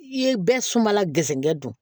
I ye bɛɛ sumala gɛrisɛgɛ don